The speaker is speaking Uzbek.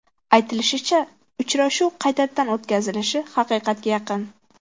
Aytilishicha, uchrashuv qaytadan o‘tkazilishi haqiqatga yaqin.